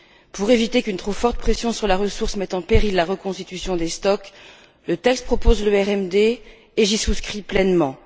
Pour éviter qu'une trop forte pression sur la ressource mette en péril la reconstitution des stocks, le texte propose le RMD, et j'y souscris pleinement.